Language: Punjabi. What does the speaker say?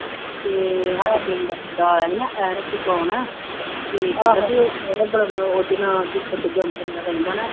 ਅਤੇ ਸਾਡੇ ਪਿੰਡ ਮੁੰਡਾ ਆਇਆ ਸੀ ਨਾ ਅਤੇ ਕਹਿੰਦਾ ਬਈ ਉਹਦੇ ਨਾਲ ਦੀਪਕ ਰਹਿੰਦਾ ਨਾ